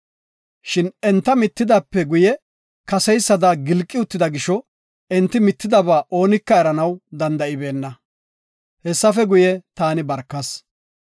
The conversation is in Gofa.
Shin enta mittidaape guye kaseysada gilqi uttida gisho, enti mittidaba oonika eranaw danda7ibeenna. Hessafe guye, taani barkas.